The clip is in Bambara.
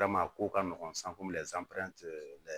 ko ka nɔgɔn